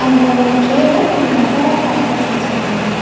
இதுல ஒரு ட்ரேல கொஞ்சோ மசாலா பேக்கட்ஸ் வெச்சிருக்காங்க.